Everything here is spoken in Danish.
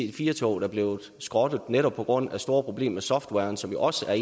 ic4 toget er blevet skrottet netop på grund af store problemer med softwaren som også er